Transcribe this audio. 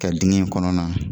Ka digɛn in kɔnɔna